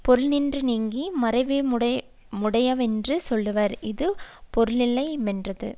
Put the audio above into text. பொருளினின்று நீங்கி மறவியுமுடையவரென்று சொல்லுவர் இது பொருளில்லையாமென்றது